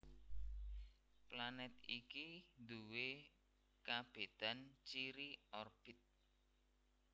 Planèt iki duwé kabédan ciri orbit